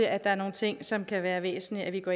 at der er nogle ting som det kan være væsentligt at vi går